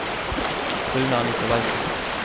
Runar Nicolaysen